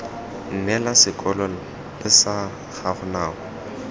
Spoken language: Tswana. neela sekolo lsa gago nako